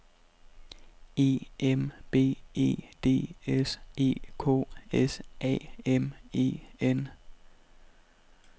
E M B E D S E K S A M E N